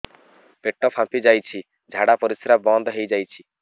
ପେଟ ଫାମ୍ପି ଯାଇଛି ଝାଡ଼ା ପରିସ୍ରା ବନ୍ଦ ହେଇଯାଇଛି